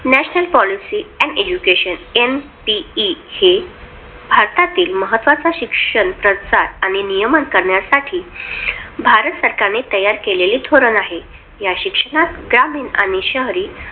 National Police and Education NTE हे भारतातील महत्वाचा शिक्षण प्रत्साव आणि नियमांचा भारत सरकार ने तयार केलेलं धोरण आहे ग्रामीण आणि शहरी